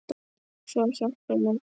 Svo hjálpi mér Guð.